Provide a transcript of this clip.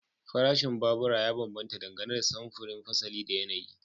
Farashin babura ya bambanta dangane da samfuri, fasali da yanayi.